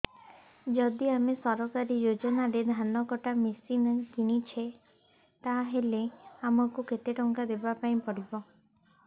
ଯଦି ଆମେ ସରକାରୀ ଯୋଜନାରେ ଧାନ କଟା ମେସିନ୍ କିଣୁଛେ ତାହାଲେ ଆମକୁ କେତେ ଟଙ୍କା ଦବାପାଇଁ ପଡିବ